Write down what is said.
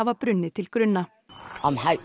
brunnið til grunna